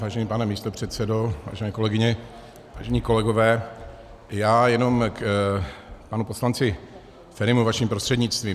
Vážený pane místopředsedo, vážené kolegyně, vážení kolegové, já jenom k panu poslanci Ferimu vaším prostřednictvím.